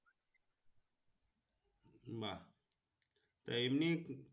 না এমনি।